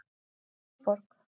Þingborg